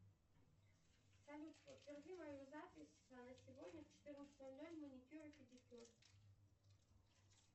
салют подтверди мою запись на сегодня в четырнадцать ноль ноль маникюр и педикюр